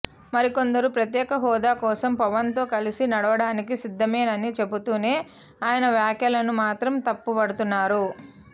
మరికొందరు ప్రత్యేక హోదా కోసం పవన్ తో కలిసి నడవడానికి సిద్ధమేనని చెబుతూనే ఆయన వ్యాఖ్యలను మాత్రం తప్పుపడుతున్నారు